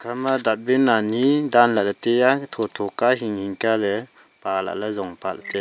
ema datbin ani dan lahle teya thotho ka hinghing ka le pa lahle jong pa teya.